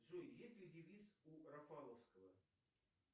джой есть ли девиз у рафаловского